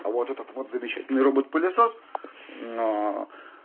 а вот этот вот замечательный робот-пылесос